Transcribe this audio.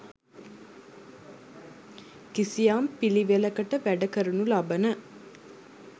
කිසියම් පිළිවෙළකට වැඩ කරනු ලබන